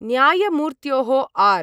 न्यायमूर्त्योः R